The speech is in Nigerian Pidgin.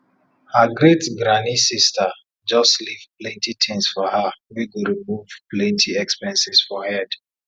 her great granny sister just leave plenty tins for her wey go remove plenty expenses for head